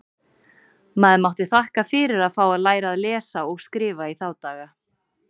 Maður mátti þakka fyrir að fá að læra að lesa og skrifa í þá daga.